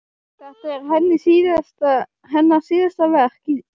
Þetta er hennar síðasta verk í